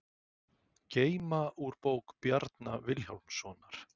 Geyma úr bók Bjarna Vilhjálmssonar